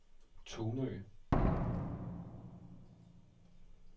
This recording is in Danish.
Tunø